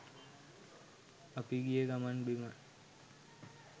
අපි ගිය ගමන් බිමන්